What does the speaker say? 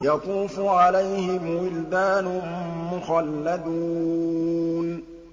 يَطُوفُ عَلَيْهِمْ وِلْدَانٌ مُّخَلَّدُونَ